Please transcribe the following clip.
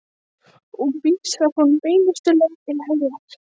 Og vísar honum beinustu leið til heljar.